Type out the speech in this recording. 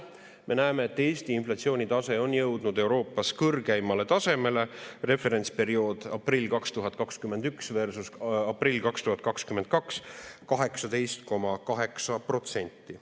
Me näeme, et Eesti inflatsioonitase on jõudnud Euroopas kõrgeimale tasemele: referentsperiood aprill 2021 versus aprill 2022 18,8%.